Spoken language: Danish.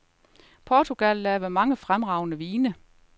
Portugal laver mange fremragende vine.